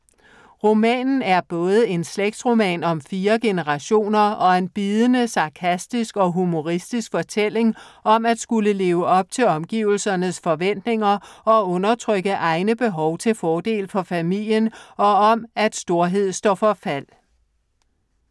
Romanen er både en slægtsroman om fire generationer og en bidende, sarkastisk og humoristisk fortælling om at skulle leve op til omgivelsernes forventninger og undertrykke egne behov til fordel for familien og om, at storhed står for fald.